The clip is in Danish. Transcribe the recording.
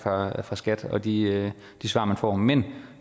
fra skats side og de svar man får men